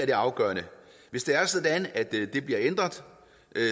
det afgørende hvis det er sådan at det bliver ændret